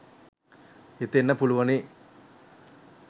හිතෙන්න පුළුවනි.